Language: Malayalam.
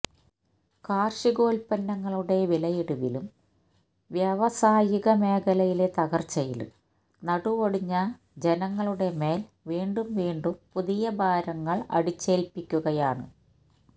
കാര്ഷികോല്പ്പന്നങ്ങളുടെ വിലയിടിവിലും വ്യവാസായിക മേഖലയിലെ തകര്ച്ചയിലും നടുവൊടിഞ്ഞ ജനങ്ങളുടെ മേല് വീണ്ടും വീണ്ടും പുതിയഭാരങ്ങള് അടിച്ചേല്പ്പിക്കുകയാണ്